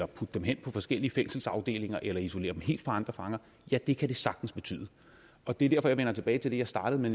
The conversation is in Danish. putte dem hen i forskellige fængselsafdelinger eller isolere dem helt fra andre fanger ja det kan det sagtens betyde og det er derfor jeg tilbage til det jeg startede med